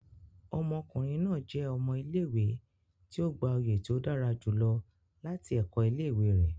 Ọmọkunrin naa jẹ ọmọ ile-iwe ti o gba oye ti o dara julọ lati ẹkọ ile-iwe re